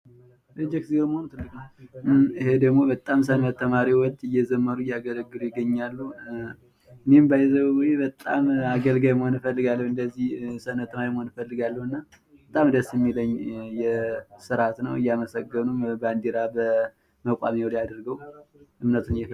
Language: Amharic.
ይህ ደግሞ በጣም ሰንበት ተማሪዎች እየዘመሩ እያገለገሉ ይገኛሉ ። እኔም ባይዘዌ በጣም አገልጋይ መሆን እፈልጋለሁ እንደዚህ የሰንበት ተማሪ መሆን እፈልጋለሁ እና በጣም ደስ ሚለኝ ስርአት ነው እያመሰገኑም ባንዲራ በመቋሚያው ላይ አድርገው ።